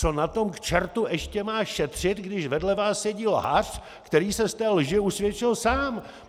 Co na tom, k čertu, ještě má šetřit, když vedle vás sedí lhář, který se z té lži usvědčil sám.